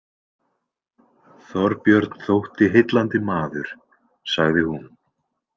Þorbjörn þótti heillandi maður, sagði hún.